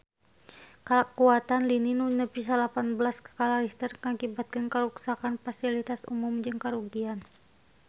Kakuatan lini nu nepi salapan belas skala Richter ngakibatkeun karuksakan pasilitas umum jeung karugian harta banda nepi ka 5 miliar rupiah